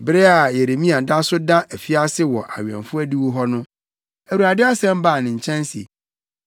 Bere a Yeremia da so da afiase wɔ awɛmfo adiwo hɔ no, Awurade asɛm baa ne nkyɛn se,